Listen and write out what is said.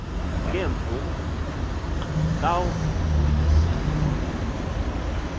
ke mfo kavuyisile